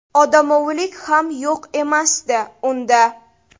Odamovilik ham yo‘q emasdi unda.